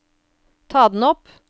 ta den opp